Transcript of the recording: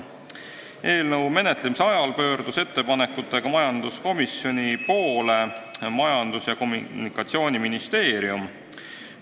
Eelnõu menetlemise ajal pöördus ettepanekutega majanduskomisjoni poole Majandus- ja Kommunikatsiooniministeerium.